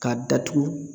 K'a datugu